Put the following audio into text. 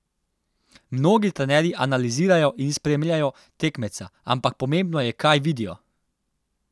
Mnogi trenerji analizirajo in spremljajo tekmeca, ampak pomembno je, kaj vidijo?